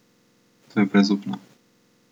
To je brezupno.